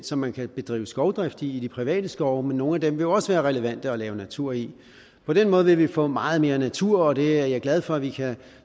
som man kan bedrive skovdrift i i de private skove men nogle af dem vil jo også være relevante at lave natur i på den måde vil vi få meget mere natur og det er jeg glad for vi kan